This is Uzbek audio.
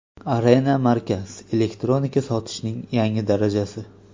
Arena Markaz – elektronika sotishning yangi darajasi.